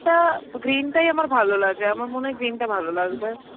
টা green টাই আমার ভালোলাগে আমার মনে হয় green টা ভালো লাগবে.